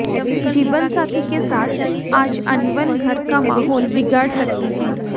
जीवनसाथी के साथ आज अनबन घर का माहौल बिगाड़ सकती है